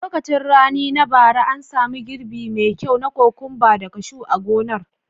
A lokacin rani na bara, an samu girbi me kyau na kokwamba da kashu a gonar.